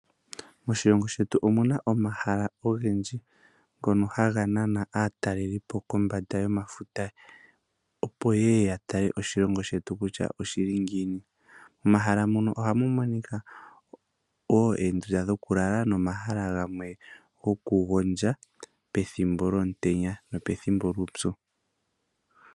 Moshilongo shetu omuna omahala ogendji ngono haga nana aatalelipo kombanda yomafuta opo yeye yatale oshilongo shetu kutya oshili ngiini Momahala muno ohamu monika oondunda dhokulala nomahala gamwe goku gondja pethimbo lyuupyu.